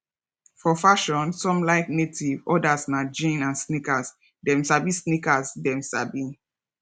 for fashion some like native others na jeans and sneakers dem sabi sneakers dem sabi